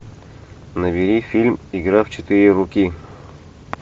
набери фильм игра в четыре руки